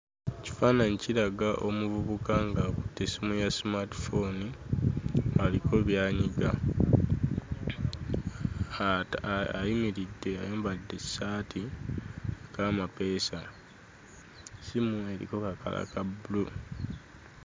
Ekifaananyi kiraga omuvubuka ng'akutte essimu ya 'smart phone' aliko by'anyiga. Ayimiridde ayambadde essaati eriko amapeesa. Essimu eriko kakkala ka bbulu.